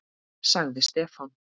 sagði Stefán.